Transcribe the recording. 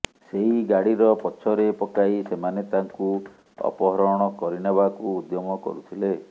ସେଇ ଗାଡ଼ିର ପଛରେ ପକାଇ ସେମାନେ ତାଙ୍କୁ ଅପହରଣ କରିନେବାକୁ ଉଦ୍ୟମ କରୁଥିଲେ